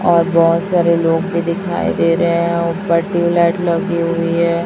और बहोत सारे लोग भी दिखाई दे रहे हैं। ऊपर ट्यूबलाइट लगी हुई है।